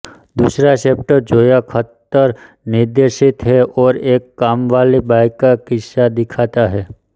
दूसरा चैप्टर जोया अख्तर निर्देशित है और एक काम वाली बाई का किस्सा दिखाता है